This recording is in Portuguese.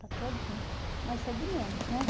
está todinha, mas isso é de menos, né?